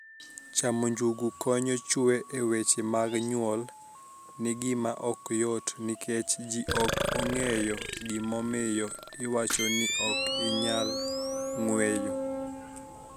Chamo nijugu koniyo chwo e weche mag niyuol nigima ok yot niikech ji ok onig'eyo gimomiyo iwacho nii ok iniyal nig'weyo.